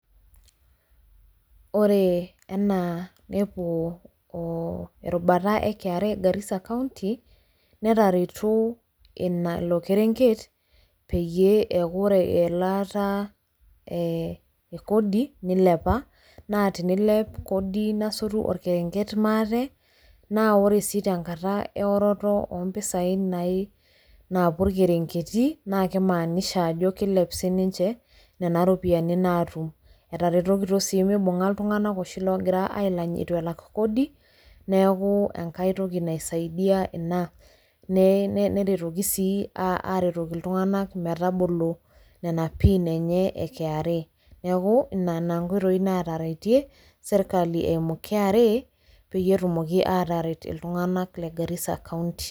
ore enaa ndpuo erubata e kra garisa county. netaretuo ilo kerenket. peyie eeku ore elaata ee kodi nilepa. naa tenilep kodi nasotu orkerenket maate. naa ore sii te nkata eoroto oo mpisai naai naapuo irkerenketi, naa kimaanisha ajo kilep sii ninche, nena ropiyiani naatum. etaretokito sii mibung'a iltunganak oshi loogira ailany eitu elak, kodi. neeku enkae toki naisadia ina ,neetuoki sii aaretoki iltunganak metabolo nena pin enye e kra. neeku nena nkpitoi naataretie sirkali eimu kra pee etumoki aataret iltunganak le garissa county.